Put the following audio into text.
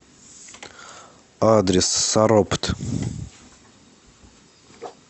адрес саропт